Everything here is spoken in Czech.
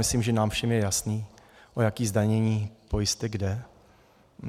Myslím, že nám všem je jasné, o jaké zdanění pojistek jde.